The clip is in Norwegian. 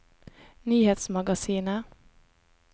nyhetsmagasinet